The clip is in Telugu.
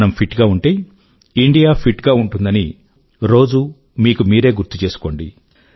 మనం ఫిట్ గా ఉంటే ఇండియా ఫిట్ గా ఉంటుందని రోజూ మీకు మీరే గుర్తు చేసుకోండి